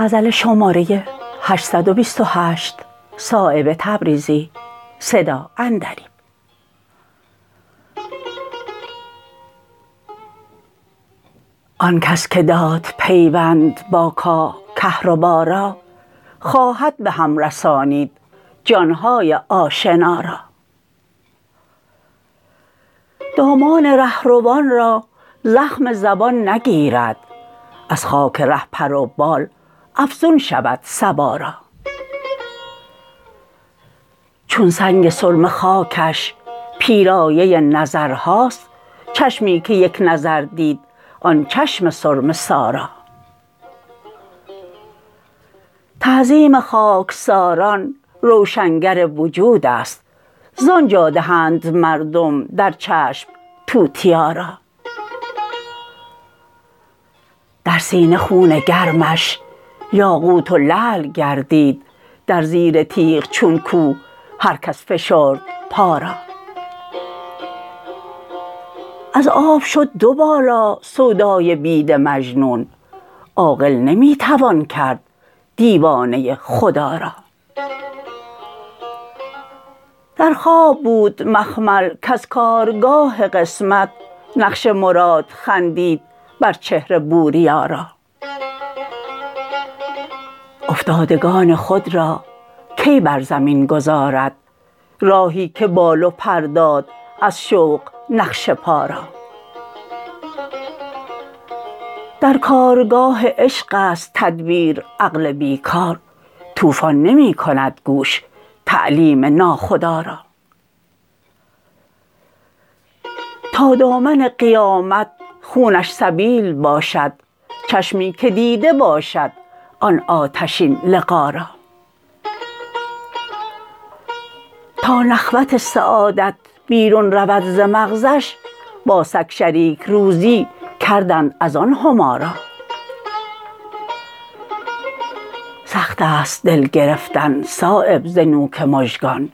آن کس که داد پیوند با کاه کهربا را خواهد به هم رسانید جانهای آشنا را دامان رهروان را زخم زبان نگیرد از خار ره پر و بال افزون شود صبا را چون سنگ سرمه خاکش پیرایه نظرهاست چشمی که یک نظر دید آن چشم سرمه سا را تعظیم خاکساران روشنگر وجودست زان جا دهند مردم در چشم توتیا را در سینه خون گرمش یاقوت و لعل گردید در زیر تیغ چون کوه هر کس فشرد پا را از آب شد دو بالا سودای بید مجنون عاقل نمی توان کرد دیوانه خدا را در خواب بود مخمل کز کارگاه قسمت نقش مراد خندید بر چهره بوریا را افتادگان خود را کی بر زمین گذارد راهی که بال و پر داد از شوق نقش پا را در کارگاه عشق است تدبیر عقل بیکار طوفان نمی کند گوش تعلیم ناخدا را تا دامن قیامت خونش سبیل باشد چشمی که دیده باشد آن آتشین لقا را تا نخوت سعادت بیرون رود ز مغزش با سگ شریک روزی کردند ازان هما را سخت است دل گرفتن صایب ز نوک مژگان